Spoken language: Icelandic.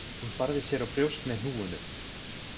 Hún barði sér á brjóst með hnúunum.